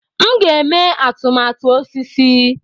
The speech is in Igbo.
M ga-eme atụmatụ osisi